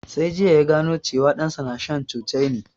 Sai jiya ya gano cewan ɗan sa na shan cocaine